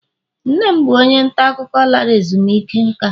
nne m bụ onye nta akụkọ lara ezumike nka